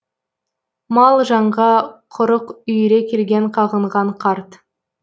мал жанға құрық үйіре келген қағынған қарт